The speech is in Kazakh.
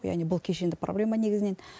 яғни бұл кешенді проблема негізінен